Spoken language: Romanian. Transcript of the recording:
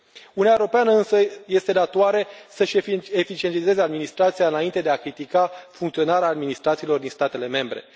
Uniunea Europeană însă este datoare să și eficientizeze administrația înainte de a critica funcționarea administrațiilor din statele membre.